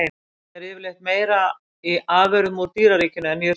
Magnið er yfirleitt meira í afurðum úr dýraríkinu en jurtaríkinu.